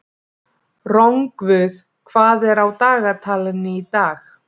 Rongvuð, hvað er á dagatalinu í dag?